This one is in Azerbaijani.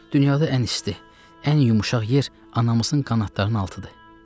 Dünyada ən isti, ən yumşaq yer anamızın qanadlarının altıdır.